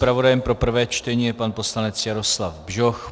Zpravodajem pro prvé čtení je pan poslanec Jaroslav Bžoch.